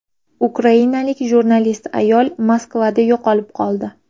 Ukrainalik jurnalist ayol Moskvada yo‘qolib qoldi.